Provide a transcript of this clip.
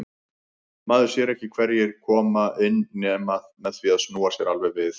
Maður sér ekki hverjir koma inn nema með því að snúa sér alveg við.